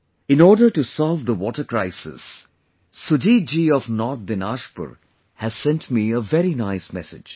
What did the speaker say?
In order to solve the water crisis, Sujit ji of North Dinajpur has sent me a very nice message